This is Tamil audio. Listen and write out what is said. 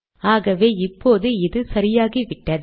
ஆகவே இப்போது இது சரியாகிவிட்டது